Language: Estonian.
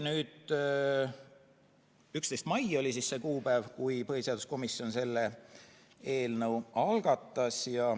11. mai oli see kuupäev, kui põhiseaduskomisjon selle eelnõu algatas.